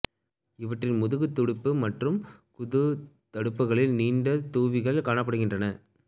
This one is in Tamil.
இவற்றின் முதுகு துடுப்பு மற்றும் குத துடுப்புகளில் நீண்ட தூவிகள் காணப்படுகின்றன